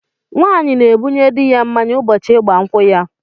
Nwaanyị na-ebunye di ya mmáñyá ụbọchị ịgba nkwụ ya.